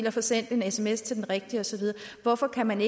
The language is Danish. og få sendt en sms til den rigtige og så videre hvorfor kan man